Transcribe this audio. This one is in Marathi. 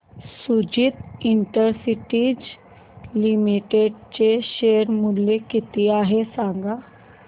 सुदिति इंडस्ट्रीज लिमिटेड चे शेअर मूल्य किती आहे सांगा